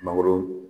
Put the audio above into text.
Mangoro